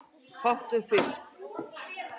Fátt er um fisk